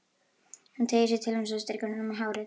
Hún teygir sig til hans og strýkur honum um hárið.